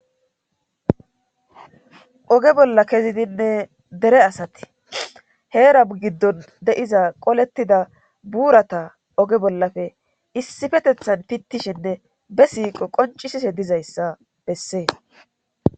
Oge bolla kezidinne dere asati heera giddon deiza qolettida buurata oge bollafe issifetethan pittishinne be siiqo qoncisise dizayssa bessees.